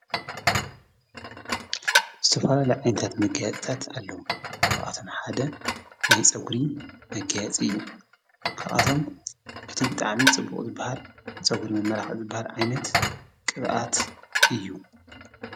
ዝተፈላለየ ዓይነታት መገየፅታት ኣለዉ ክኣቶም ሓደ ናይ ፀጕሪ መገያጽ እዩ ክኣቶም እቲ ብጥዓምን ጽቡቕት በሃል ጸጕሪ መመራኽ ዕጽ በሃል ኣይነት ቕብኣት እዩ።